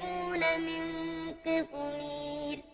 مُّسَمًّى ۚ ذَٰلِكُمُ اللَّهُ رَبُّكُمْ لَهُ الْمُلْكُ ۚ وَالَّذِينَ تَدْعُونَ مِن دُونِهِ مَا يَمْلِكُونَ مِن قِطْمِيرٍ